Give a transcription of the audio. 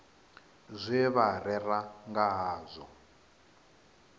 zwe vha rera nga hazwo